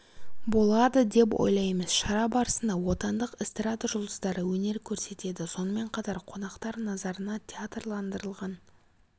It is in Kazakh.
болады деп ойлаймыз шара барысында отандық эстрада жұлдыздары өнер көрсетеді сонымен қатар қонақтар назарына театрландырылған